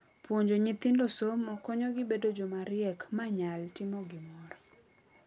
Puonjo nyithindo somo konyo gi bedo joma riek manyal timo gimoro.